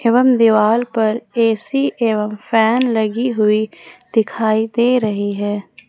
एवं दीवाल पर ए_सी एवं फैन लगी हुई दिखाई दे रही है।